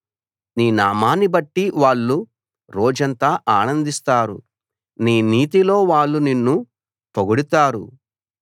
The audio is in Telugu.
నీ నామాన్ని బట్టి వాళ్ళు రోజంతా ఆనందిస్తారు నీ నీతిలో వాళ్ళు నిన్ను పొగడుతారు